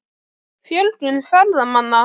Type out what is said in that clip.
Fjölgun ferðamanna?